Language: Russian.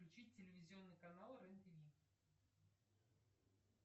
включи телевизионный канал рен тв